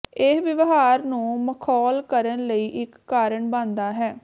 ਇਹ ਵਿਵਹਾਰ ਨੂੰ ਮਖੌਲ ਕਰਨ ਲਈ ਇੱਕ ਕਾਰਨ ਬਣਦਾ ਹੈ